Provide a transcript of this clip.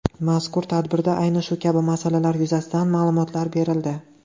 Mazkur tadbirda ayni shu kabi masalalar yuzasidan ma’lumotlar berildi.